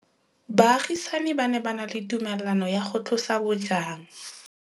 Baagisani ba ne ba na le tumalanô ya go tlosa bojang.